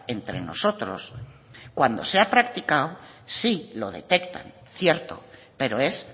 entre nosotros cuando se ha practicado sí lo detectan cierto pero es